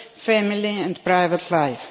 family and private life.